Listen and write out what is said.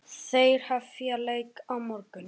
Þeir hefja leik á morgun.